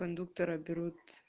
кондуктора берут